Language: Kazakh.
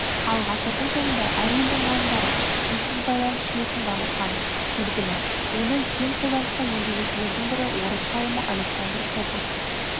ал ғасырдың соңында әр елдің ғалымдары сымсыз байланыс жүйесін дамытқаны белгілі оны кең қолданысқа енгізушілердің бірі орыс ғалымы александр попов